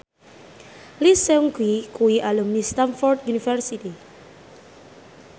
Lee Seung Gi kuwi alumni Stamford University